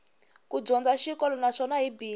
ku dyondza xikolo naswona hi bindzu